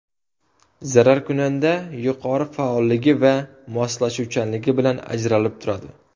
Zararkunanda yuqori faolligi va moslashuvchanligi bilan ajralib turadi.